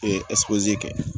kɛ